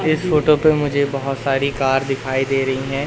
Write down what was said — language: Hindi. इस फोटो पे मुझे बहोत सारी कार दिखाई दे रहीं हैं।